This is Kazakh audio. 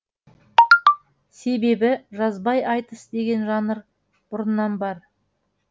себебі жазбай айтыс деген жанр бұрыннан бар